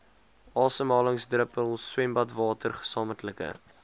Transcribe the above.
asemhalingsdruppels swembadwater gesamentlike